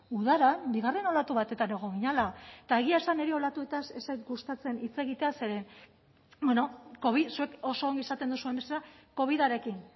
udaran bigarren olatu batetan egon ginela eta egia esan niri olatuetaz ez zait gustatzen hitz egitea zeren bueno covid zuek oso ondo esaten duzuen bezala covidarekin